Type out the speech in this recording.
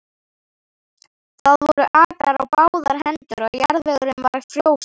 Það voru akrar á báðar hendur og jarðvegurinn var frjósamur.